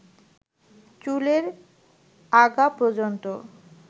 চুলের আগাপর্যন্ত